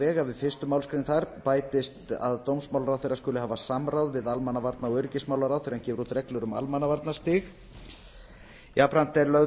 að við fyrstu málsgrein þar bætist að dómsmálaráðherra skuli hafa samráð við almannavarna og öryggismálaráð þegar hann gefur út reglur um almannavarnastig jafnframt er lögð